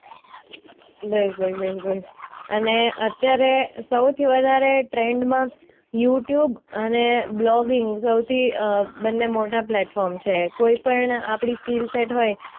અને અત્યારે સૌથી વધારે ટ્રેન્ડમાં યૂટ્યૂબ અને બ્લોગિંગ સૌથી બંને મોટા પ્લેટફોર્મ છે કોઈ પણ આપણી સ્કિલ સેટ હોય